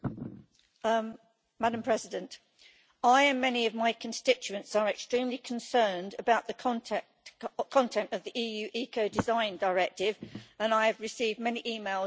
Madam President, I and many of my constituents are extremely concerned about the content of the EU Ecodesign Directive and I have received many emails and letters about it.